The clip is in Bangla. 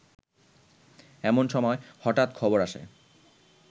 এমন সময় হঠাৎ খবর আসে